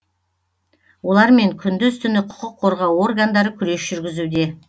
олармен күндіз түні құқық қорғау органдары күрес жүргізуде